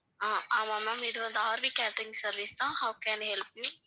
அஹ் ஆமாம் ma'am இது வந்து RV கேட்டரிங் சர்வீஸ் தான் how can I help you